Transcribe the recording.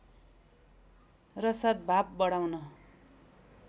र सद्भाव बढाउन